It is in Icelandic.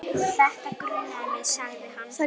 Þetta grunaði mig sagði hann.